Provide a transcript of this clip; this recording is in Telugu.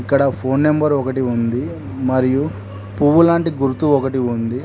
ఇక్కడ ఫోన్ నెంబర్ ఒకటి ఉంది మరియు పువ్వులాంటి గుర్తు ఒకటి ఉంది.